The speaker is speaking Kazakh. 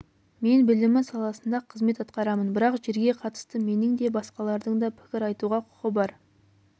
мен білімі саласында қызмет атқарамын бірақ жерге қатысты менің де басқалардың да пікір айтуға құқы бар